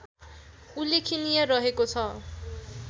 उल्लेखनीय रहेको छ